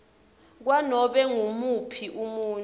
kwanobe ngumuphi umuntfu